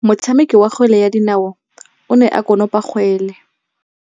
Motshameki wa kgwele ya dinaô o ne a konopa kgwele.